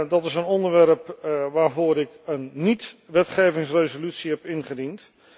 Dat is een onderwerp waarvoor ik een niet wetgevingsresolutie heb ingediend.